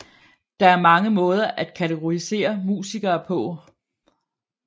Der er mange måder at kategorisere musikere på